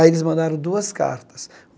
Aí eles mandaram duas cartas.